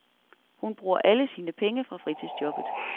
Hun bruger alle sine penge fra fritidsjobbet.